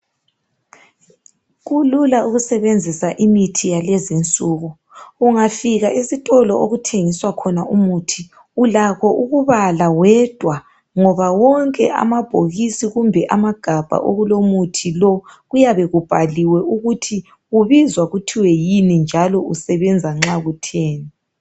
Kulula ukusebenzisa imithi yalezinsuku, ungafika esitolo okuthengiswa khona umuthi .Ulakho ukubala wedwa ngoba wonke amabhokisi kumbe amagabha okulomuthi lo .Kuyabe kubhaliwe ukuthi ubizwa kuthiwe yini njalo usebenza nxa kutheni.